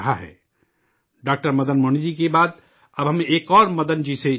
doctor Madan ji کے بعد اب ہم ایک اور مدن جی سے جڑتے ہیں